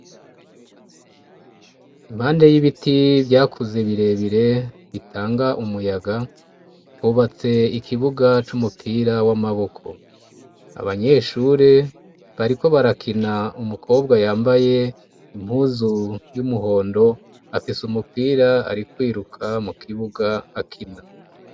Impande y'ibiti vyakuze bire bire bitanga umuyaga hubatse ikibuga c'umupira w'amaboko abanyeshuri bariko barakina umukobwa yambaye impuzu y'umuhondo afise umupira ari kwiruka mu kibuga akina.